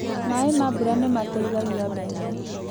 Maaĩ ma mbura nĩ mateithagia mbembe